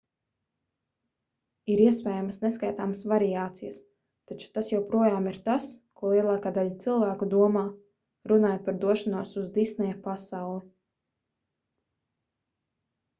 ir iespējamas neskaitāmas variācijas taču tas joprojām ir tas ko lielākā daļa cilvēku domā runājot par došanos uz disneja pasauli